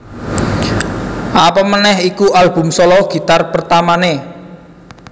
Apamaneh iku album solo gitar pertamané